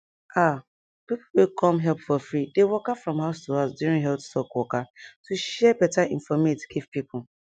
ah people wey come help for free dey waka from house to house during health talk waka to share beta infomate give people